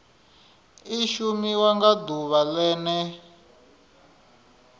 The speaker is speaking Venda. i shumiwa nga ḓuvha ḽene